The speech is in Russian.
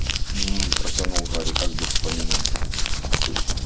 мм протянул гарри как бы вспоминая